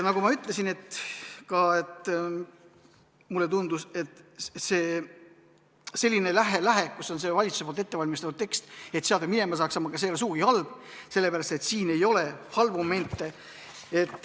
Nagu ma ütlesin, mulle tundus, et selline lähe, kus on valitsuse ettevalmistatud tekst, et minema saaks, ei ole sugugi halb, sest siin ei ole halbu momente.